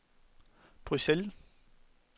Bruxelles